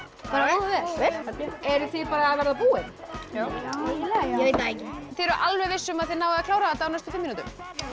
bara mjög vel eruð þið bara að verða búin eiginlega já þið eruð alveg viss um að þið náið að klára þetta á næstu fimm mínútum